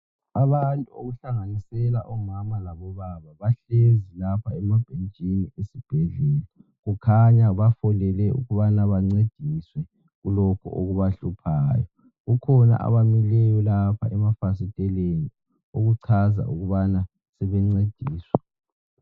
Abantu okuhlanganisela omama labobaba bahlezi lapha emabhetshini esibhedlela. Kukhanya bafolele ukubana bencediswe kulokhu okubahluphayo. Kukhona abamileyo lapha emafasiteleni okuchaza ukuba sebencediswa.